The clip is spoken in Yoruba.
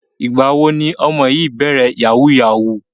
Ìgbà wo ni ọmọ yìí bẹ̀rẹ̀ yahoo yahoo?